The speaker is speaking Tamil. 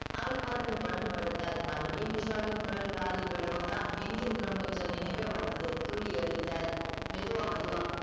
அவள் புரண்டு புரண்டு படுத்தால் மறுபடியும் விஷ்வாவின் குரல் காதில் விலவுந்தான் எங்கு இருக்கிறோம் என்ற நினைவே வந்தது துள்ளி எழுந்தால் மெதுவா மெதுவா